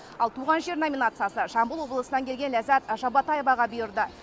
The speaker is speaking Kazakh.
ал туған жер номинациясы жамбыл облысынан келген ләззат жабатаеваға бұйырды